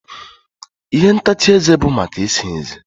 ihe ntacha eze bụ maka ịsa ezé